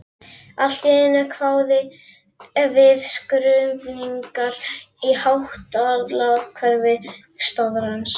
Allt í einu kváðu við skruðningar í hátalarakerfi staðarins.